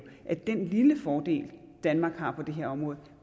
at den lille fordel danmark har på det her område